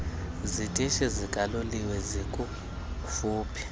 zitishi zikaloliwe zikufuphi